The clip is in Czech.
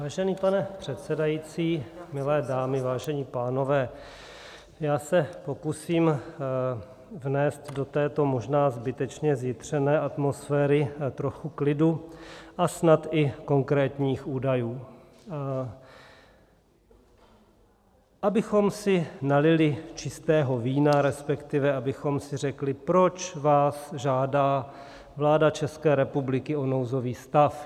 Vážený pane předsedající, milé dámy, vážení pánové, já se pokusím vnést do této možná zbytečně zjitřené atmosféry trochu klidu a snad i konkrétních údajů, abychom si nalili čistého vína, respektive abychom si řekli, proč vás žádá vláda České republiky o nouzový stav.